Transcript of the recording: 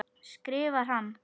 skrifar hann.